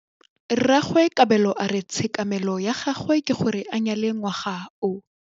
Rragwe Kabelo a re tshekamêlô ya gagwe ke gore a nyale ngwaga o.